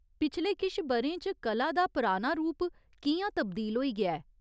पिछले किश ब'रें च कला दा पराना रूप कि'यां तब्दील होई गेआ ऐ ?